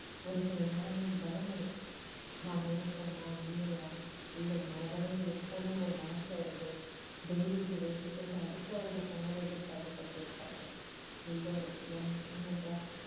ஒரு சில நேரங்கலில் பயம் இருக்கும் நாம் இருப்போமா இல்லையா இல்லை மனதளவில் இருப்போம்னு ஒரு மனசுல ஒரு தைரியத்தை வைத்துக் கொண்டு அடுத்த வருடப் பொங்கலை எதிர்பார்த்துக் கொண்டிருப்பார்கள் எல்லோரும் ஏன் ஏனென்றால்